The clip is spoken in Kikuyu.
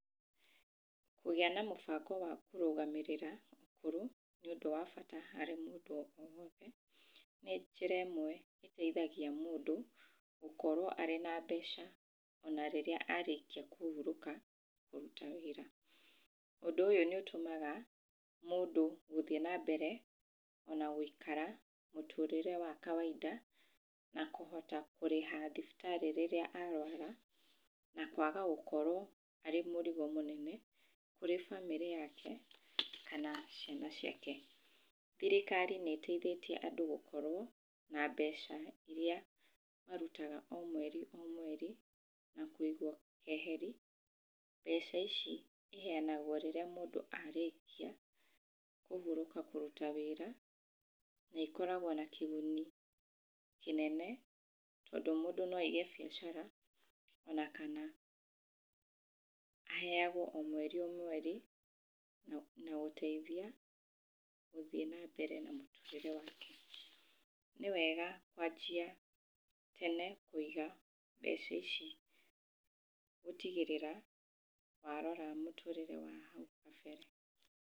Kũgĩa na mũbango wa kũrũgamĩrĩra ũkũrũ, nĩ ũndũ wa bata harĩ o mũndũ o wothe. Nĩ njĩra ĩmwe ĩteithagia mũndũ gũkorwo arĩ na mbeca ona rĩrĩa arĩkia kũhurũka kũruta wĩra. Ũndũ ũyũ nĩ ũtũmaga mũndũ gũthiĩ na mbere ona gũikara mũtũrĩre wa kawainda na kũhota kũrĩha thibitarĩ rĩrĩa arũara na kwaga gũkorwo arĩ mũrigo mũnene kũrĩ bamĩrĩ yake, kana ciana ciake. Thirikari nĩ ĩteithĩtie andũ gũkorwo na mbeca iria marutaga o mweri o mweri na kũigwo keheri. Mbeca ici iheanagwo rĩrĩa mũndũ arĩkia kũhurũka kũruta wĩra, na ikoragwo na kĩguni kĩnene tondũ mũndũ no aige biacara ona kana aheagwo o mweri o mweri na gũteithia gũthiĩ na mbere na mũtũrĩre wake. Nĩ wega kwanjia tene kũiga mbeca ici gũtigĩrĩra warora mũtũrĩre waku wa hau kabere.